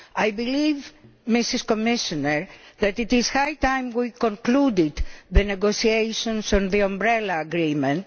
I believe, Madam Commissioner, that it is high time we concluded the negotiations on the Umbrella Agreement.